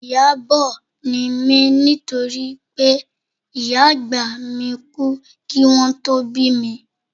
Ìyábọ̀ ni mí nítorí pé ìyá àgbà mi kú kí wọn tó bí mi